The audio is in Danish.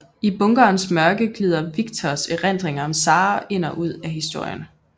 I bunkerens mørke glider Victors erindringer om Sara ind og ud af historien